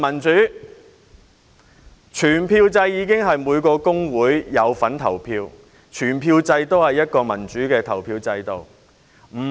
在全票制下，每個工會均可參與投票，是一個民主的投票制度。